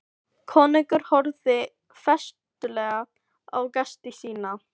Konungur horfði festulega á gesti sína.